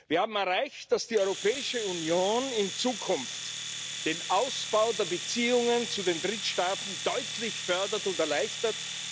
Wir haben erreicht, dass die Europäische Union in Zukunft den Ausbau der Beziehungen zu den Drittstaaten deutlich fördert und erleichtert.